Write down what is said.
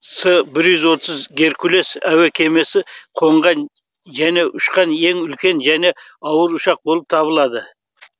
с бір жүз отыз геркулес әуе кемесі қонған және ұшқан ең үлкен және ауыр ұшақ болып табылады